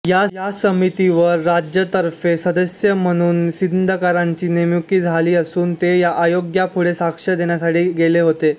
या समितीवर राज्यातर्फे सदस्य म्हणून सिंदकरांची नेमणूक झालेली असून ते आयोगापुढे साक्ष देण्यासाठी गेले होते